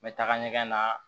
N bɛ taga ɲɛgɛn na